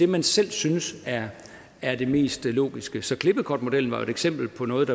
man selv synes er det mest logiske så klippekortmodellen er jo et eksempel på noget